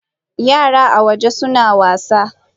Yara a waje suna wasa.